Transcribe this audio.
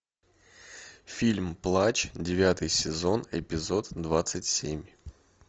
фильм плач девятый сезон эпизод двадцать семь